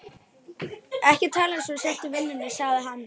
Ekki tala eins og þú sért í vinnunni, sagði hann.